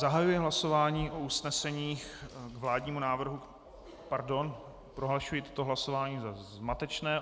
Zahajuji hlasování o usneseních k vládnímu návrhu - pardon, prohlašuji toto hlasování za zmatečné.